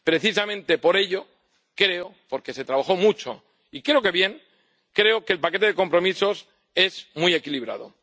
Precisamente por ello creo —porque se trabajó mucho y creo que bien— que el paquete de compromisos es muy equilibrado.